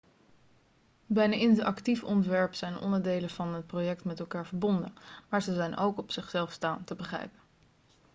bij een interactief ontwerp zijn onderdelen van het project met elkaar verbonden maar ze zijn ook op zichzelf staand te begrijpen